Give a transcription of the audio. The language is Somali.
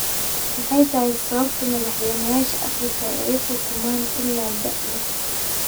Maxay tahay sababta madaxweynayaasha Afrika ay u xukumaan ilaa da'da?